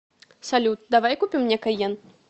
салют давай купим мне кайен